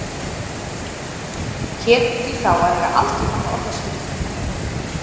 Hét því þá að eiga aldrei framar orðaskipti við þennan lækni.